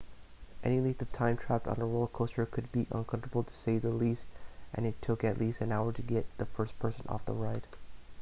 any length of time trapped on a roller coaster would be uncomfortable to say the least and it took at least an hour to get the first person off the ride